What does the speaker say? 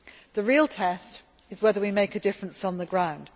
The real test is whether we make a difference on the ground.